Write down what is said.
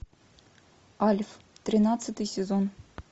альф тринадцатый сезон